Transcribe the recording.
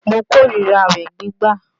Mo kó ríra àwẹ̀ gbígbà